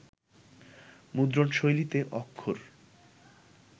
মুদ্রণশৈলীতে অক্ষর